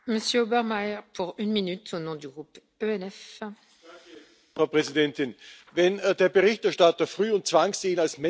Frau Präsidentin! Wenn der Berichterstatter Früh und Zwangsehen als Menschenrechtsverletzungen und Ausbeutung beschreibt, kann man ihm ja nur zustimmen.